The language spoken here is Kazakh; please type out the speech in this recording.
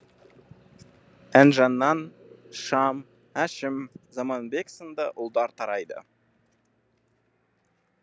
інжінан шам әшім заманбек сынды ұлдар тарайды